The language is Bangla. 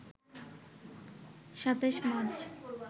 ২৭ মার্চ